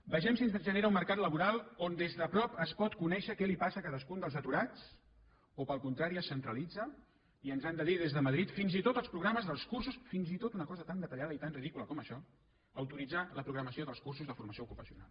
vegem si ens genera un mercat laboral on des de prop es pot conèixer què li passa a cadascun dels aturats o al contrari es centralitza i ens han de dir des de madrid fins i tot els programes dels cursos fins i tot una cosa tan detallada i tan ridícula com això autoritzar la programació dels cursos de formació ocupacional